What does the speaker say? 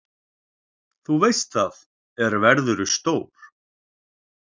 Þú veist það, er verðurðu stór.